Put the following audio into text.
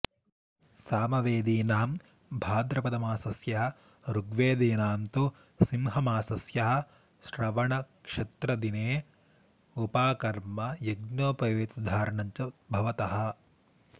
सामवेदीनां भाद्रपदमासस्य ऋग्वेदीनां तु सिंहमासस्य श्रवणनक्षत्रदिने उपाकर्म यज्ञोपवीतधारणं च भवतः